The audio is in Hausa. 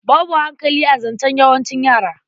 Babu hankali a zancen yawancin yara.